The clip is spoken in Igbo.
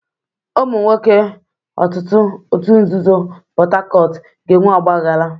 Ụmụ nwoke òtù nzuzo Port Harcourt ga-enwe ọgbaghara.